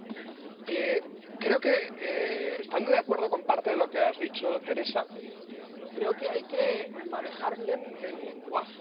Aun estando de acuerdo con parte de lo que has dicho, Teresa, creo que hay que manejar bien el lenguaje.